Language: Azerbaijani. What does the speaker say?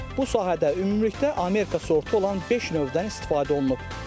Bu sahədə ümumilikdə Amerika sortlarından beş növdən istifadə olunub.